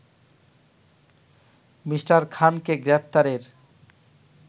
Me. খানকে গ্রেপ্তারের